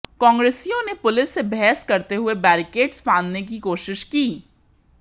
कांग्रेसियों ने पुलिस से बहस करते हुए बैरिकेड्स फंदने की कोशिश की